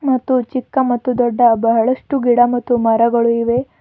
ಮತ್ತು ಚಿಕ್ಕ ಮತ್ತು ದೊಡ್ಡ ಬಹಳಷ್ಟು ಗಿಡ ಮತ್ತು ಮರಗಳು ಇವೆ.